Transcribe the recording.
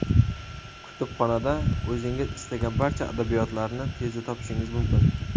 Kutubxonada o‘zingiz istagan barcha adabiyotlarni tezda topishingiz mumkin.